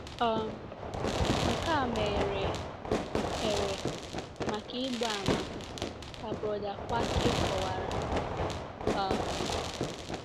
um Nke a meghere here maka ịgba àmà, ka Brother Kwakye kọwara. um